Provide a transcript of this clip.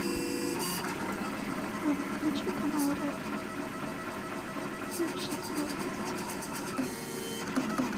включи канал ретро фильм счастливы вместе